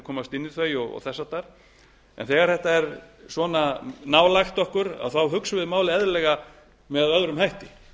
komast inn í þau og þess háttar en þegar þetta er svona nálægt okkur þá hugsum við málið eðlilega með öðrum hætti